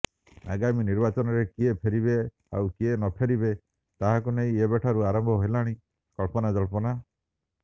ଆଗାମୀ ନିର୍ବାଚନରେ କିଏ ଫେରିବେ ଆଉ କିଏ ନଫେରିବେ ତାହାକୁ ନେଇ ଏବେଠାରୁ ଆରମ୍ଭ ହେଲାଣି କଳ୍ପନାଜଳ୍ପନା